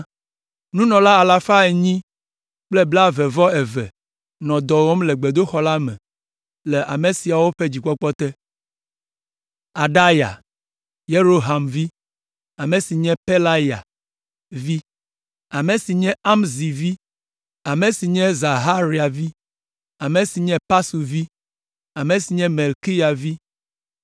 Nunɔla alafa enyi kple blaeve-vɔ-eve (822) nɔ dɔ wɔm le gbedoxɔ la me le ame siawo ƒe dzikpɔkpɔ te. Adaya, Yeroham vi, ame si nye Pelalya vi, ame si nye Amzi vi, ame si nye Zaharia vi, ame si nye Pasur vi, ame si nye Malkiya vi.